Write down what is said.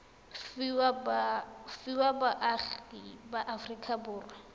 fiwa baagi ba aforika borwa